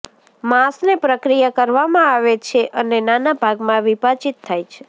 માંસને પ્રક્રિયા કરવામાં આવે છે અને નાના ભાગમાં વિભાજીત થાય છે